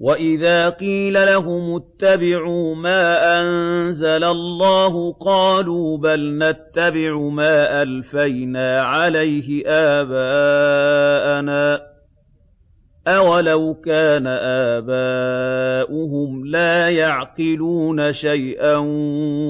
وَإِذَا قِيلَ لَهُمُ اتَّبِعُوا مَا أَنزَلَ اللَّهُ قَالُوا بَلْ نَتَّبِعُ مَا أَلْفَيْنَا عَلَيْهِ آبَاءَنَا ۗ أَوَلَوْ كَانَ آبَاؤُهُمْ لَا يَعْقِلُونَ شَيْئًا